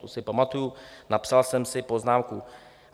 To si pamatuji, napsal jsem si poznámku.